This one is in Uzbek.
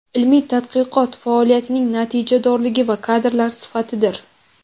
ilmiy tadqiqot faoliyatining natijadorligi va kadrlar sifatidir.